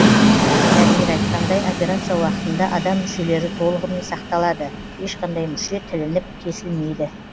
дәрігер айтқандай операция уақытында адам мүшелері толығымен сақталады ешқандай мүше тілініп кесілмейді